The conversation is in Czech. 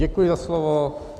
Děkuji za slovo.